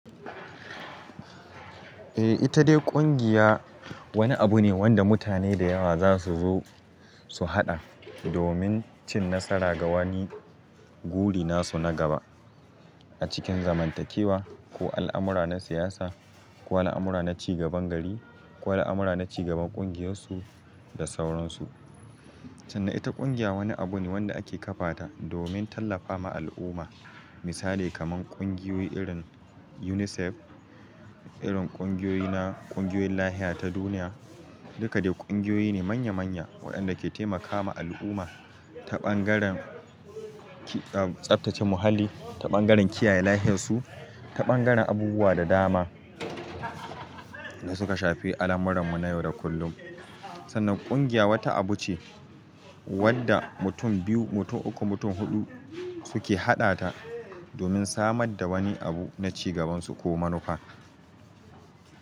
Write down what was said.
Eh ita dai ƙungiya wani abu ne wanda mutane da yawa za su zo su haɗa domin cin nasara ga wani guri nasu na gaba a cikin zamantakewa ko al'amura na siyasa ko al'amura na cigaban gari ko al'amura na cigaban ƙungiyarsu da sauransu. Sannan ita ƙungiya wani abu ne wanda ake ƙafa ta domin tallafa ma al'umma. Misali kamar ƙungiyoyi irin UNICEF, irin ƙungiyoyi na ƙungiyoyin lafiya ta duniya, duka dai ƙungiyoyi ne manya manya waɗanda ke taimakama al'umma ta ɓangaren tsaftace muhalli, ta ɓangaren kiyaye lafiyarsu, ta ɓangaren abubuwa da dama da suka shafi al'amuran mu na yau da kullum. Sannan ƙungiya wata abu ce wanda mutum biyu, mutum uku, mutum huɗu suke haɗa ta domin samar da wani abu na cigabansu ko manufa.